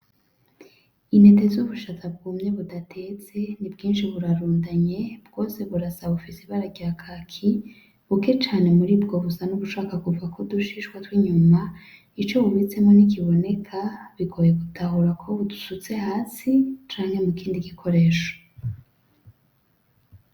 Intete z'ubushaza bwumye budatetse ni bwishi burarundanye bwose burasa bufise ibara ryakaki buke cane muribwo busa nubushaka kuvako udushishwa twinyuma ico bubitsemo nti kiboneka bigoye gutahura ko busutse hasi canke mu kindi gikoresho.